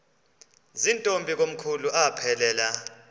zirntombi komkhulu aphelela